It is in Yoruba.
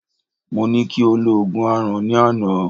Mọ ní kí o lo Ògùn Aràn, ní àná.